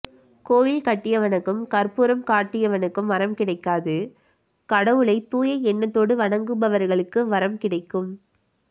கோயில் கட்டியவனுக்கும் கற்பூரம் காட்டியவனுக்கும் வரம் கிடைக்காது கடவுளை தூய எண்ணத்தோட வணங்குபவர்களுக்கு வரம் கிடைக்கும்